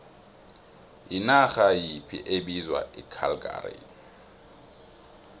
yinarha yiphi bizwa icalgary